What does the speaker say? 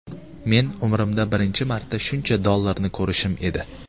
Men umrimda birinchi marta shuncha dollarni ko‘rishim edi.